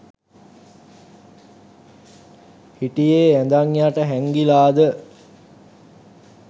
හිටියේ ඇඳන් යට හැංගිලාද?